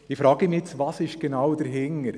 Ich frage mich, was genau dahintersteckt.